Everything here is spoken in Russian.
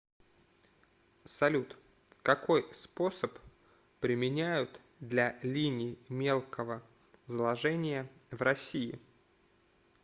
салют какой способ применяют для линий мелкого заложения в россии